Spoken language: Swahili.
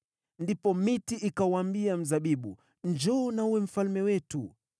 “Ndipo miti ikauambia mzabibu, ‘Njoo na uwe mfalme wetu.’